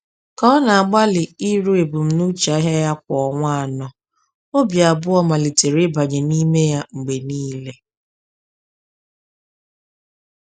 Ka ọ na-agbalị iru ebumnuche ahịa ya kwa ọnwa anọ, obi abụọ malitere ịbanye n’ime ya mgbe niile.